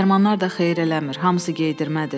Dərmanlar da xeyir eləmir, hamısı qeydirmədir.